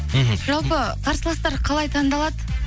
мхм жалпы қарсыластар қалай таңдалады